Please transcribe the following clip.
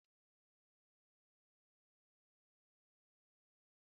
Ị nwere ike ịgwa m ụfọdụ akụkọ oge ụra?